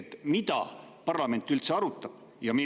Mida ja millal parlament üldse arutab?